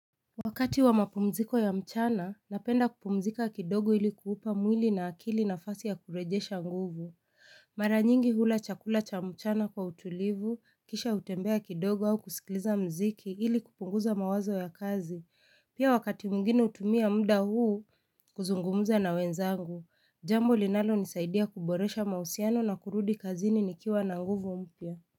Wakati wa mapumziko ya mchana, napenda kupumzika kidogo ili kuupa mwili na akili nafasi ya kurejesha nguvu. Mara nyingi hula chakula cha mchana kwa utulivu, kisha hutembea kidogo au kusikiliza mziki ili kupunguza mawazo ya kazi. Pia wakati mwingine hutumia mda huu, kuzungumuza na wenzangu. Jambo linalonisaidia kuboresha mahusiano na kurudi kazini nikiwa na nguvu mpya.